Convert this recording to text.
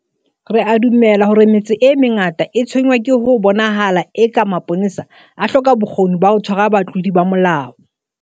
Re a dumela hore metse e mengata e tshwenngwa ke ho bonahalang eka mapolesa a hloka bokgoni ba ho tshwara batlodi ba molao.